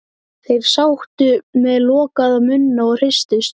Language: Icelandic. Þeir sátu með lokaða munna og hristust.